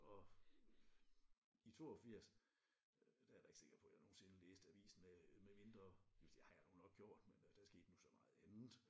Og i 82 der er jeg da ikke sikker på at jeg nogensinde læste avisen øh medmindre jo det har jeg nu nok gjort men øh der skete nu så meget andet